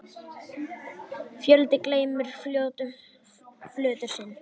foldin geymi fjötur sinn.